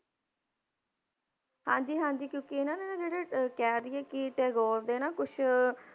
ਹਾਂਜੀ ਹਾਂਜੀ ਕਿਉਂਕਿ ਇਹਨਾਂ ਨੇ ਨਾ ਜਿਹੜੇ ਕਹਿ ਦੇਈਏ ਕਿ ਟੈਗੋਰ ਦੇ ਨਾ ਕੁਛ